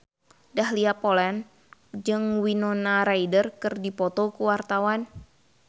Dahlia Poland jeung Winona Ryder keur dipoto ku wartawan